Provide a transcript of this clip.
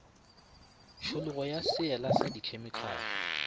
tšhologo ya seela sa khemikale